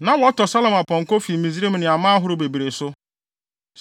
Na wɔtɔ Salomo apɔnkɔ fi Misraim ne aman ahorow bebree so.